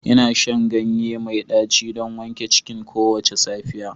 Ina shan ganye mai daci don wanke cikina kowace safiya